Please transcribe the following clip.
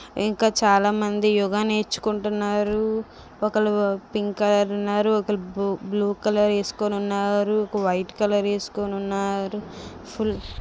ఇంకా చాలామంది యోగ నేర్చుకుంటున్నారు ఒక ఓళ్ళు పింక్ కలర్ ఒకరు బ్లూ కలర్ ఎసుకొని ఉన్నారు ఒక వైట్ కలర్ ఎసుకొని ఉన్నారు.